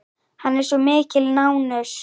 Hann er svo mikil nánös hann Diddi.